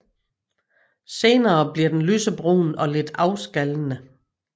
Senere bliver den lysebrun og lidt afskallende